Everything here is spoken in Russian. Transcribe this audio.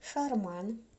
шарман